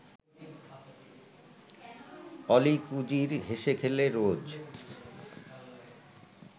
অলীক উজির হেসে-খেলে রোজ